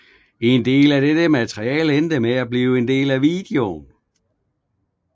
En del af dette materiale endte med at blive en del af videoen